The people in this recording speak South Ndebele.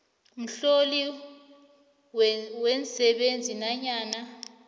mhloli weensebenzi nanyana